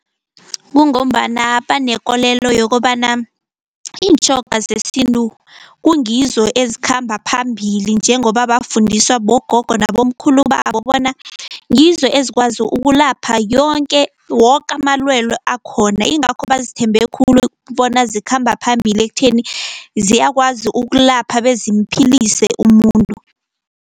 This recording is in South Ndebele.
Kungombana banekolelo yokobana iintjhoga zesintu kungizo ezikhamba phambili, njengoba bafundiswa bogogo nabomkhulu babo bona ngizo ezikwazi ukulapha yonke, woke amalwelwe akhona, ingakho bazithembe khulu bona zikhamba phambili ekutheni ziyakwazi ukulapha bezimuphilise umuntu.